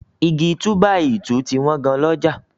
Igi túbàìtuùti wọ́n gan lọ́jà.